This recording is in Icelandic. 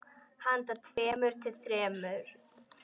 Handa tveimur til þremur